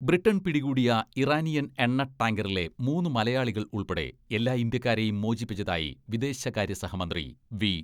Britain പിടികൂടിയ Iranian എണ്ണ ടാങ്കറിലെ മൂന്ന് മലയാളികൾ ഉൾപ്പെടെ എല്ലാ ഇന്ത്യക്കാരേയും മോചിപ്പിച്ചതായി വിദേശകാര്യ സഹമന്ത്രി വി.